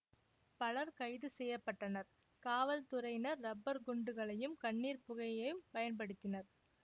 பலர் கைது செய்ய பட்டனர் காவல்துறையினர் ரப்பர் குண்டுகளையும் கண்ணீர் புகையும் பயன்படுத்தினர்